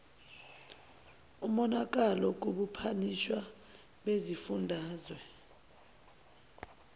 umonalalo kubuphathiswa besifundazwe